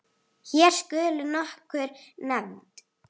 Hér skulu nokkur nefnd